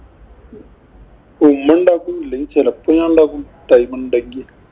ഉമ്മ ഉണ്ടാക്കും. ഇല്ലെങ്കില്‍ ചെലപ്പോ ഞാനുണ്ടാക്കും time ഉണ്ടെങ്കി